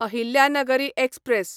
Ahilyanagari express